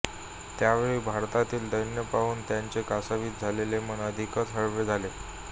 त्यावेळी भारतातील दैन्य पाहून त्यांचे कासावीस झालेले मन अधिकच हळवे झाले